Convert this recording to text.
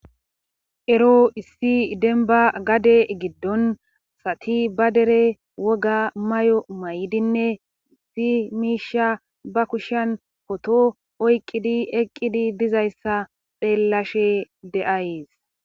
ero issi denba gade giddon sati ba dere woga may7o may7dinne zi miisha ba kushan koto oyqqidi eqqidi dizayssa xeellashe de7ayes